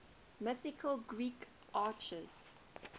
mythological greek archers